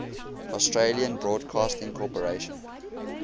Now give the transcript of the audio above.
australian broadcasting corporation